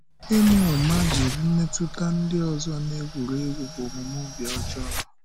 Ịma ụ̀ma jiri mmetụta ndị ọzọ na-egwùrị egwù bụ omume ọ̀bì ọjọọ.